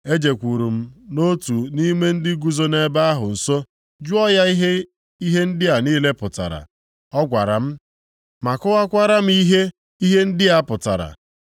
Ejekwuuru m otu nʼime ndị guzo nʼebe ahụ nso jụọ ya ihe ihe ndị a niile pụtara. “Ọ gwara m ma kọwakwara m ihe ihe ndị a pụtara.